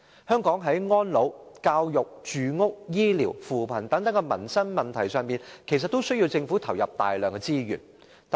香港在安老、教育、住屋、醫療和扶貧等民生問題上其實均需要政府投入大量資源。